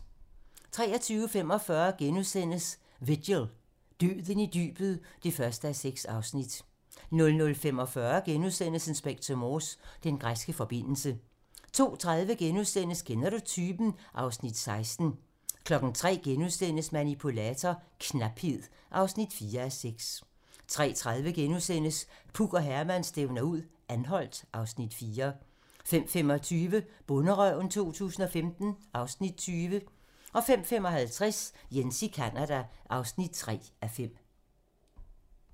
23:45: Vigil - Døden i dybet (1:6)* 00:45: Inspector Morse: Den græske forbindelse * 02:30: Kender du typen? (Afs. 16)* 03:00: Manipulator - knaphed (4:6)* 03:30: Puk og Herman stævner ud - Anholt (Afs. 4)* 05:25: Bonderøven 2015 (Afs. 20) 05:55: Jens i Canada (3:5)